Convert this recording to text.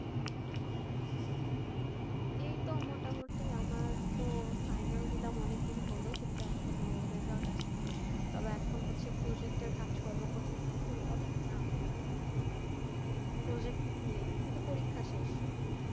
এই তো মোটামুটি আমার তো final দিলাম অনেকদিন হল কিন্তু এখনও result আসে নাই, তবে এখন হচ্ছে project এর কাজকর্ম করতেছি তো অনেক চাপ আরকি project নিয়ে, কিন্তু পরীক্ষা শেষ এমনে।